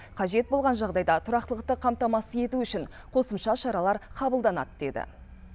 қажет болған жағдайда тұрақтылықты қамтамасыз ету үшін қосымша шаралар қабыладанады деді